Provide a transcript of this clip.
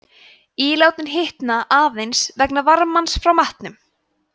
ílátin hitna aðeins vegna varmans frá matnum